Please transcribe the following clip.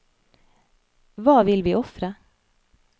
Hva vil vi ofre?